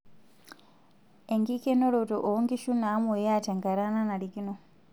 Enkikenoroto oonkishu naamoyia tenkata nanarikino.